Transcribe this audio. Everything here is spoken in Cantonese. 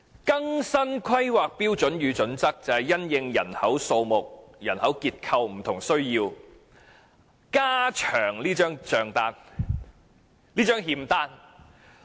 更新《規劃標準》就是因應人口數目、人口結構等不同需要，加長這張欠單。